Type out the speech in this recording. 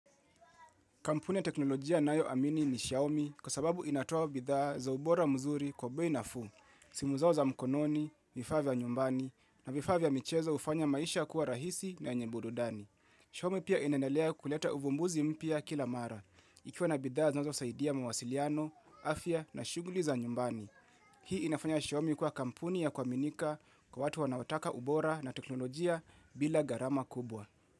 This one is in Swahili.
Kampuni ya teknolojia ninayoamini ni Xiaomi kwa sababu inatoa bidhaa za ubora mzuri kwa bei nafuu. Simu zao za mkononi, vifaa vya nyumbani na vifaa vya michezo ufanya maisha kuwa rahisi na yenye burudani. Xiaomi pia inandelea kuleta uvumbuzi mpya kila mara. Ikiwa na bidhaa zinazosaidia mawasiliano, afya na shuguli za nyumbani. Hii inafanya Xiaomi kuwa kampuni ya kuaminika kwa watu wanaotaka ubora na teknolojia bila gharama kubwa.